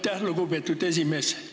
Aitäh, lugupeetud esimees!